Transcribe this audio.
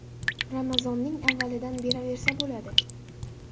Ramazonning avvalidan beraversa bo‘ladi .